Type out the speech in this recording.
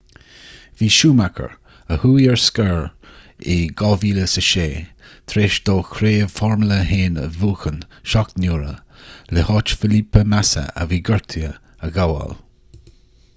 bhí schumacher a chuaigh ar scor in 2006 tar éis dó craobh formula 1 a bhuachan seacht n-uaire le háit felipe massa a bhí gortaithe a ghabháil